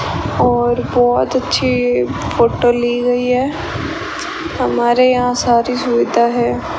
और बहोत अच्छी फोटो ली गई है हमारे यहां सारी सुविधा है।